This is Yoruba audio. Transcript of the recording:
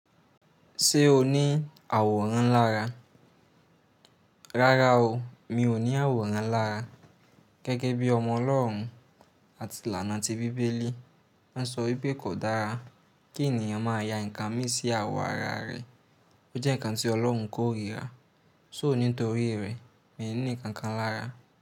Ṣé o ní àwòrán lára? Rárá o, mi ò ní àwòrán lára. Gẹ́gẹ́ bí ọmọ Ọlọ́run àti lànà ti Bíbélì má sọ wípé kò dára kí ènìyàn máa ya nǹkan mí sí àwọ̀ ara rẹ̀. Ó jẹ́ nǹkan tí Ọlọ́run kò ríra. Só nítorí rẹ̀, mi ò ní nǹkan kan lára.